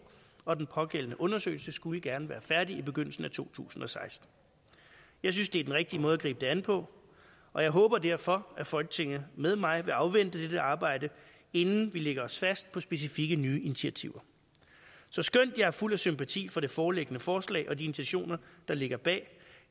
og den pågældende undersøgelse skulle gerne være færdig i begyndelsen af to tusind og seksten jeg synes det er den rigtige måde at gribe det an på og jeg håber derfor at folketinget med mig vil afvente dette arbejde inden vi lægger os fast på specifikke nye initiativer så skønt jeg er fuld af sympati for det foreliggende forslag og de intentioner der ligger bag